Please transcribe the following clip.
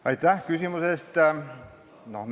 Aitäh küsimuse eest!